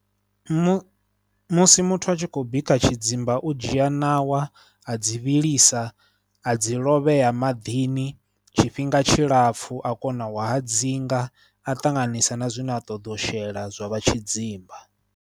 Mu musi muthu a tshi khou bika tshidzimba u dzhia ṋawa a dzi vhilisa, a dzi lovhea maḓini tshifhinga tshilapfhu a kona u hadzinga a ṱanganisa na zwine a ṱoḓa shela zwa vha tshidzimba.